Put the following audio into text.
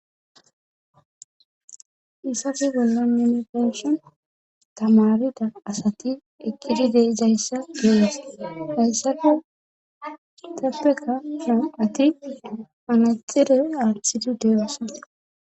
Hayssafe bollo nenefenshi tamarida asati eqqidideizayssa geees hayssafe teppeka so ati anexire aathidi deeosan.